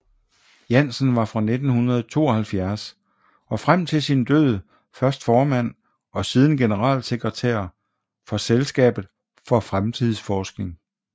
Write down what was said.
Jansen var fra 1972 og frem til sin død først formand og siden generalsekretær for Selskabet for Fremtidsforskning